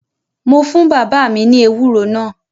Mo fún bàbá mi ní ewúro náà